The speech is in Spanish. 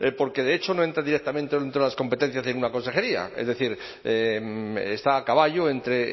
porque de hecho no entra directamente dentro de las competencias de una consejería es decir está a caballo entre